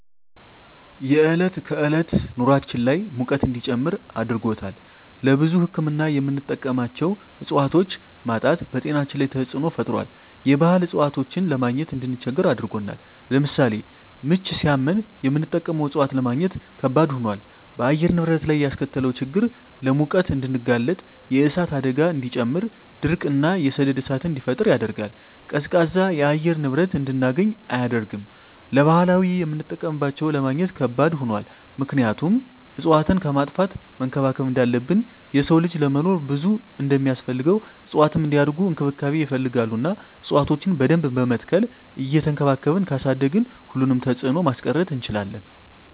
የዕለት ከዕለት ኑራችን ላይ ሙቀት እንዲጨምር አድርጎታል። ለብዙ ህክምና የምንጠቀማቸው እፅዋቶች ማጣት በጤናችን ላይ ተፅዕኖ ፈጥሯል የባህል እፅዋቶችን ለማግኘት እንድንቸገር አድርጎናል። ለምሳሌ ምች ሳመን የምንጠቀመው እፅዋት ለማግኘት ከበድ ሆኗል። በአየር ንብረት ላይ ያስከተለው ችግር ለሙቀት እንድንጋለጥ የእሳት አደጋን እንዲጨምር ድርቅ እና የሰደድ እሳትን እንዲፈጠር ያደርጋል። ቀዝቃዛ የአየር ንብረት እንድናገኝ አያደርግም። ለባህላዊ የምጠቀምባቸው ለማግኘት ከባድ ሆኗል ምክንያቱም እፅዋትን ከማጥፋት መንከባከብ እንዳለብን የሰው ልጅ ለመኖር ብዙ እንደማስፈልገው እፅዋትም እንዲያድጉ እንክብካቤ ይፈልጋሉ እና እፅዋቶችን በደንብ በመትከል እየቸንከባከብን ካሳደግን ሁሉንም ተፅዕኖ ማስቀረት እንችላለን።